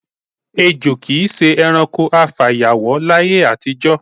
Èjo kì í s̩e e̩ranko afàyàwó láyé àtijó̩.